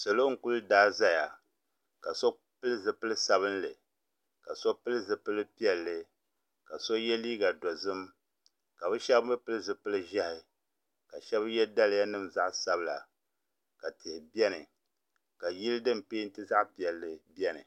Salo n kuli daa zaya ka so pili zipil'sabinli ka so pili zipil'piɛlli ka so ye liiga dozim ka bɛ sheba mee pili zipil'ʒehi ka sheba ye daliya nima zaɣa sabila ka tihi biɛni ka yili din penti zaɣa piɛlli biɛni.